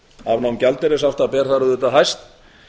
afnám gjaldeyrishafta ber þar auðvitað hæst